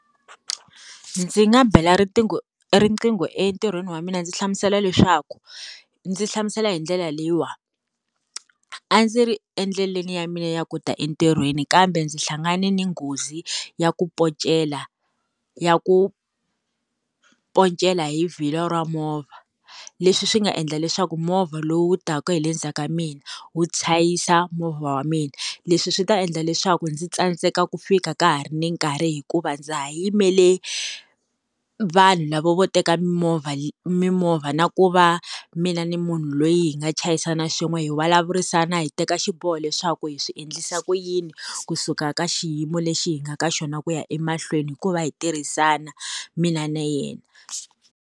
Ndzi nga bela riqingho riqingho entirhweni wa mina ndzi hlamusela leswaku ndzi hlamusela hi ndlela leyiwa a ndzi ri endleleni ya mina ya ku ta entirhweni kambe ndzi hlangane ni nghozi ya ku pocela ya ku poncela hi vhilwa ra movha leswi swi nga endla leswaku movha lowu taka hi le ndzhaku ka mina wu chayisa movha wa mina leswi swi ta endla leswaku ndzi tsandzeka ku fika ka ha ri ni nkarhi hikuva ndza ha yimele vanhu lava vo teka mimovha mimovha na ku va mina ni munhu loyi hi nga chayisana swin'we hi vulavurisana hi teka xiboho leswaku hi swi endlisa ku yini kusuka ka xiyimo lexi hi nga ka xona ku ya emahlweni hikuva hi tirhisana mina na yena.